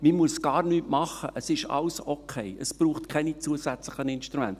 «Man muss gar nichts tun, alles ist okay, es braucht keine zusätzlichen Instrumente.